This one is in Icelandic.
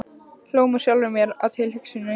Hló með sjálfri mér að tilhugsuninni.